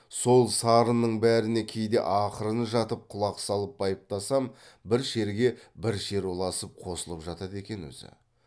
сол сарынның бәріне кейде ақырын жатып құлақ салып байыптасам бір шерге бір шер ұласып қосылып жатады екен өзі